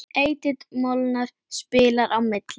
Edith Molnar spilar á milli.